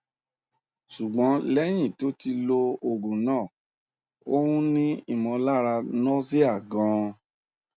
ṣùgbọn lẹyìn tó ti lo oògùn náà ó n ni imọlara nausea gan